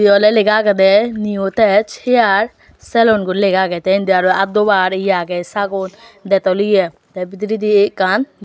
ye oley lega agedey neo tax hair saloon guri lega agey te indi aro aad dobar ye agey sagon dettol ye te bidiredi ekkan.